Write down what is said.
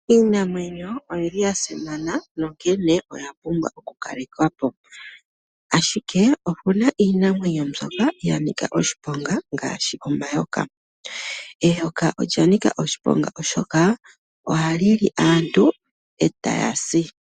Iinamwenyo oya simana, onkene oya pumbwa okukalekwa po. Ashike opu na iinamwenyo mbyoka ya nika oshiponga ngaashi omayoka. Eyoka olya nika oshiponga oshoka ohali li aantu e taya si.